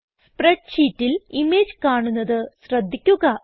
spread ഷീറ്റിൽ image കാണുന്നത് ശ്രദ്ധിക്കുക